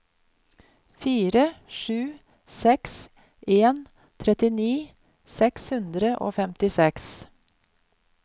fire sju seks en trettini seks hundre og femtiseks